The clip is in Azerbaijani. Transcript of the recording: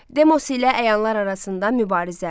Demos ilə əyanlar arasında mübarizə.